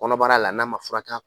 Kɔnɔbara la n'a man fura ka